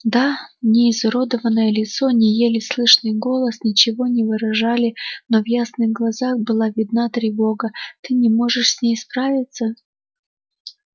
да ни изуродованное лицо ни еле слышный голос ничего не выражали но в ясных глазах была видна тревога ты не можешь с ней справиться